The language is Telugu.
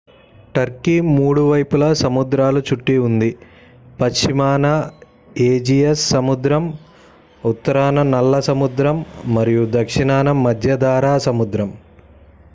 టర్కీ 3 వైపులా సముద్రాల చుట్టూ ఉంది పశ్చిమాన ఏజియన్ సముద్రం ఉత్తరాన నల్ల సముద్రం మరియు దక్షిణాన మధ్యధరా సముద్రం